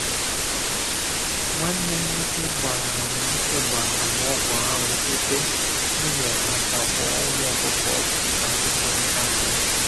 Nwanne m nwoke gbara m nwoke gbara ọgwụ anwụ ebe m nyere aka gbaa ụmụ ọkụkọ ọgwụ dịka nkwekọrịta anyị